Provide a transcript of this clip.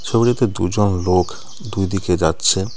ছবিটিতে দুজন লোক দুই দিকে যাচ্ছে .